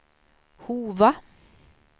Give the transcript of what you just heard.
Hova